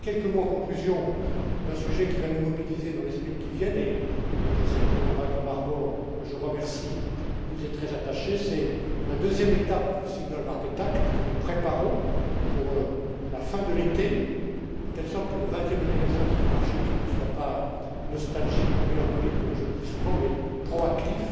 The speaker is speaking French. Voilà, je dis quelques mots en conclusion d'un sujet qui va nous mobiliser dans les semaines qui viennent et je sais que le président Malcolm Harbour, que je remercie, y est très attaché c'est la deuxième étape du Single Market Act que nous préparons pour la fin de l'été, de telle sorte que le vingtième anniversaire de ce marché unique ne soit pas nostalgique ou mélancolique, comme je le dis souvent, mais proactif.